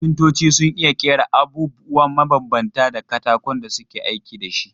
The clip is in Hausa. Kafintoci sun iya ƙera abubwa mabambanta da katakon da suke aiki da shi.